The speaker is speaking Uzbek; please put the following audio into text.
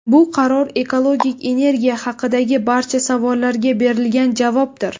Bu qaror ekologik energiya haqidagi barcha savollarga berilgan javobdir.